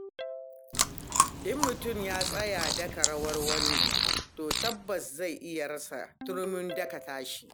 In mutum ya tsaya daka rawar wasu, to tabbas zai iya rasa turmin daka tasa.